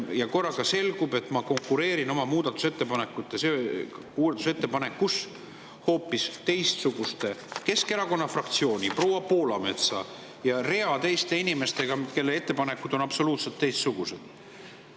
Ja korraga selgub, et ma konkureerin oma muudatusettepanekus Keskerakonna fraktsiooni, proua Poolametsa ja rea teiste inimestega, kelle ettepanekud on absoluutselt teistsugused.